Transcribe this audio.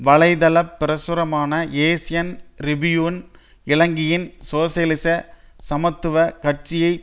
வலை தளப் பிரசுரமான ஏசியன் ரிபியூன் இலங்கையின் சோசியலிச சமத்துவ கட்சியை